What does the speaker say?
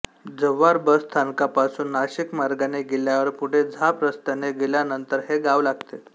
Jawhar bus स्थानकापासून नाशिक मार्गाने गेल्यावर पुढे झाप रस्त्याने गेल्यानंतर हे गाव लागते